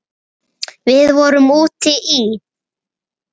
Við vorum úti í